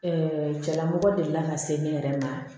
cɛla mɔgɔ delila ka se ne yɛrɛ ma